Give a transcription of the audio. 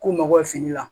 K'u mago bɛ fini la